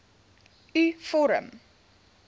u vorm